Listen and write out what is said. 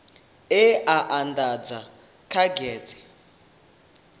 e a andadzwa kha gazethe